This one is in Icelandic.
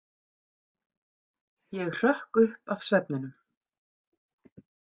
Ég hrökk upp af svefninum.